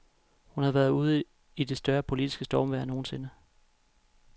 Hun har været ude i det største politiske stormvejr nogensinde.